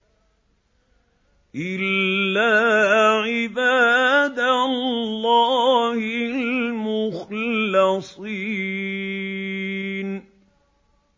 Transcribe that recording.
إِلَّا عِبَادَ اللَّهِ الْمُخْلَصِينَ